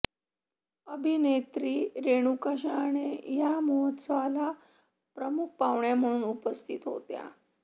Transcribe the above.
अभिनेत्री रेणुका शहाणे या महोत्सवाला प्रमुख पाहुण्या म्हणून उपस्थित होत्या